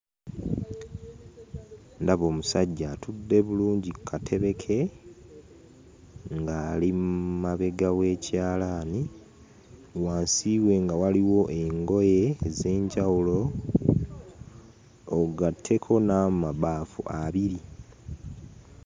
Ndaba omusajja atudde bulungi ku katebe ke, ng'ali mabega w'ekyalaani. Wansi we nga waliwo engoye ez'enjawulo, ogatteko n'amabaafu abiri.